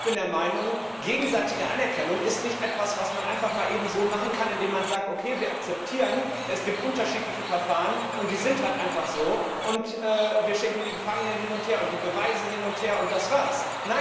Ich bin der Meinung, gegenseitige Anerkennung ist nicht etwas, was man einfach mal eben so machen kann, indem man sagt Okay, wir akzeptieren, es gibt unterschiedliche Verfahren, und die sind halt einfach so, und wir schicken die Gefangenen hin und her und die Beweise hin und her, und das war es.